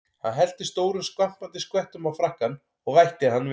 Hann hellti stórum skvampandi skvettum á frakkann og vætti hann vel.